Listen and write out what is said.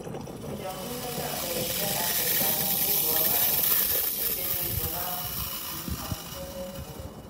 Njem nleta mberede ha chetaara m uru ọ bara iji edebe ego n'akwụkwọ ozi maka ihe mmefu ụlọ.